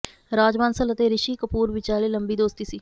ਰਾਜ ਬਾਂਸਲ ਅਤੇ ਰਿਸ਼ੀ ਕਪੂਰ ਵਿਚਾਲੇ ਲੰਬੀ ਦੋਸਤੀ ਸੀ